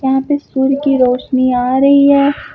यहां पे सूर्य की रोशनी आ रही है।